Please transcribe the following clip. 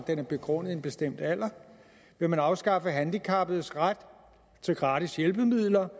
den er begrundet i en bestemt alder vil man afskaffe handicappedes ret til gratis hjælpemidler